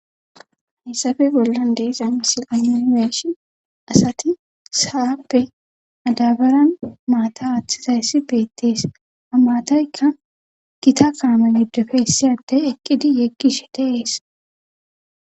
hayssafe bollan deesa misil ayunibershi asati saappe adabaran maata hathizayssi beettees a maataykka gita kaame yidofeessiyadey eqqidi yeggishe deees